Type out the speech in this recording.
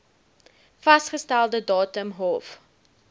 vasgestelde datum hof